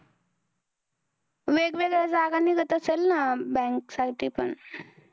वेगवेगळ्या जागा निघत असतील ना bank पण